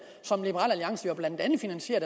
som liberal alliance blandt andet finansierer